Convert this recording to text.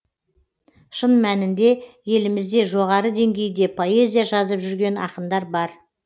шын мәнінде елімізде жоғары деңгейде поэзия жазып жүрген ақындар бар